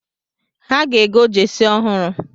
Ha ga-ego jesi ọhụrụ